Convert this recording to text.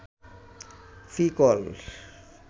free call